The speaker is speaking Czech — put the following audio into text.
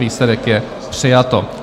Výsledek je: přijato.